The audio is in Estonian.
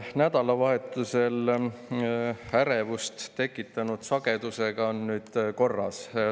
Nädalavahetusel ärevust tekitanud sagedusega on nüüd korras.